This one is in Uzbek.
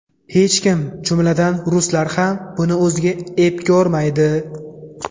Hech kim, jumladan, ruslar ham buni o‘ziga ep ko‘rmaydi.